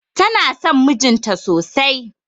Tana son mijin ta sosai.